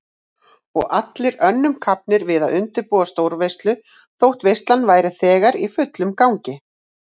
Og allir önnum kafnir við að undirbúa stórveislu þótt veislan væri þegar í fullum gangi.